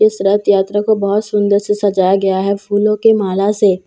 इस रथ यात्रा को बहुत सुंदर से सजाया गया है फूलों की माला से।